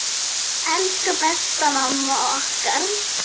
Elsku besta mamma okkar.